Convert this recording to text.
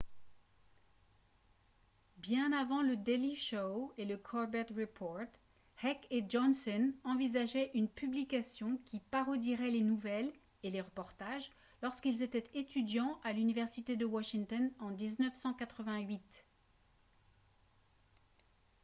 bien avant le daily show et le colbert report heck et johnson envisageaient une publication qui parodierait les nouvelles et les reportages lorsqu'ils étaient étudiants à l'université de washington en 1988